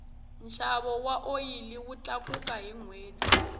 nxavo wa oyili wu tlakuka hi nhweti